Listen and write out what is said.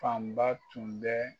Fanba tun bɛ